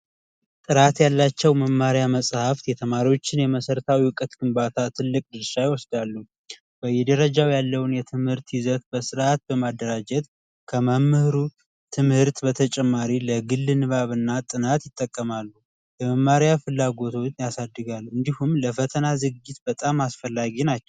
ጥራት ያላቸው መማሪያ መጽሐፍት የተማሪዎችን የመሰረታዊ እውቀት ግንባታ ትልቅ ሳይወስዳሉ የደረጃው ያለውን የትምህርት በስርዓት በማደራጀት ከመምህሩ ትምህርት በተጨማሪ ጥናት ፍላጎት ያሳድጋለን እንዲሆን ለፈተና ዝግጅት በጣም አስፈላጊ ናቸው